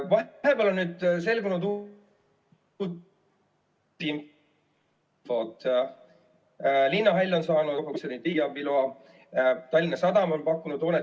Vahepeal on nüüd selgunud uut infot, linnahall on saanud riigiabi loa, Tallinna Sadam on pakkunud hoonet.